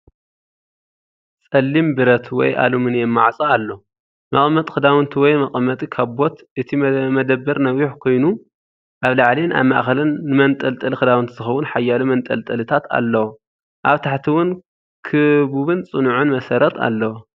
ጸሊም ብረት ወይ ኣልሙልንየም ማዕፆ ኣሎ፣ መቐመጢ ክዳውንቲ ወይ መቐመጢ ካቦት። እቲ መደበር ነዊሕ ኮይኑ ኣብ ላዕሊን ኣብ ማእከልን ንመንጠልጠሊ ክዳውንቲ ዝኸውን ሓያሎ መንጠልጠሊታት ኣለዎ። ኣብ ታሕቲ እውን ክቡብን ጽኑዕን መሰረት ኣለዎ።